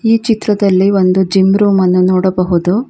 ಈ ಚಿತ್ರದಲ್ಲಿ ಒಂದು ಜಿಮ್ ರೂಮ್ ಅನ್ನು ನೋಡಬಹುದು.